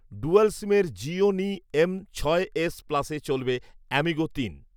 dual সিমের Gionee M ছয় S প্লাসে চলবে অ্যামিগো তিন